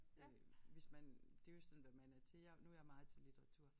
Øh hvis man det jo sådan hvad man er til og nu jeg meget til litteratur